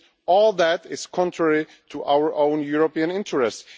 All that is contrary to our own European interests.